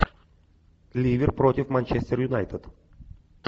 ливер против манчестер юнайтед